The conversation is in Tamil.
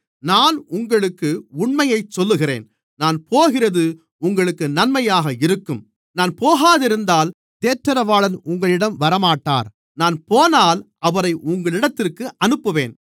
நான் உங்களுக்கு உண்மையைச் சொல்லுகிறேன் நான் போகிறது உங்களுக்கு நன்மையாக இருக்கும் நான் போகாதிருந்தால் தேற்றரவாளன் உங்களிடம் வரமாட்டார் நான் போனால் அவரை உங்களிடத்திற்கு அனுப்புவேன்